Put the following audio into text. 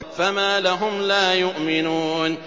فَمَا لَهُمْ لَا يُؤْمِنُونَ